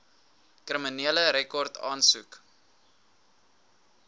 kriminele rekord aansoek